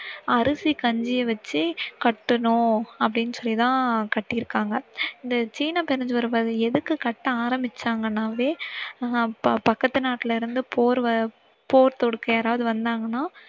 அரிசி கஞ்சிய வச்சி கட்டணும்னு அப்படினு சொல்லி தான் கட்டிருக்காங்க. இந்த சீன பெருஞ்சுவர் எதுக்கு கட்ட ஆரம்பிச்சாங்கனாவ அஹ் பக்கத்து நாட்டில இருந்து போர் வ~போர் தொடுக்க யாராவது வந்தாங்கன்னா